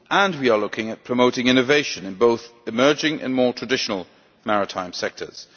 We are also looking at promoting innovation in both emerging and more traditional maritime sectors.